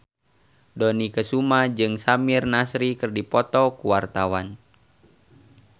Dony Kesuma jeung Samir Nasri keur dipoto ku wartawan